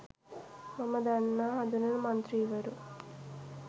මම දන්න හඳුනන මන්ත්‍රීවරු.